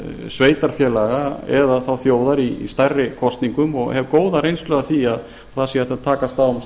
sveitarfélaga eða þjóðar í stærri kosningum og hef góða reynslu af því að það sé hægt að takast á